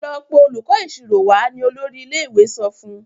Lọ pé olùkó ìṣirò wá! ní olórí ilé-ìwé sọfún.